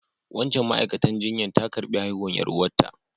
Wancan ma'aikatan jinya ta karbi haihuwan yar'uwa ta.